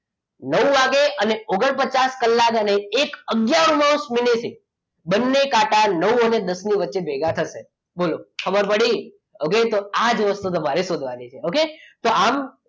નવ વાગે અને ઓગણપચાસ કલાકે એક આગયારમાં મિનિટે બંને કાંટા નવ અને દસ ની વચ્ચે ભેગા થશે બોલો ખબર પડી okay તો આ જ વસ્તુ તમારે શોધવાની છે okay તો આમ